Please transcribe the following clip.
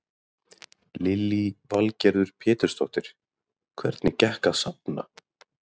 Lillý Valgerður Pétursdóttir: Hvernig gekk að safna?